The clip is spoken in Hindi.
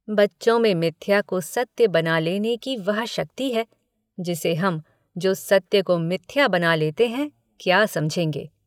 बच्चों में मिथ्या को सत्य बना लेने की वह शक्ति है जिसे हम जो सत्य को मिथ्या बना लेते हैं क्या समझेंगे।